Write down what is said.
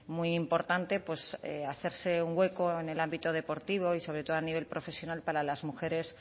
muy importante pues hacerse un hueco en el ámbito deportivo y sobre todo a nivel profesional para las mujeres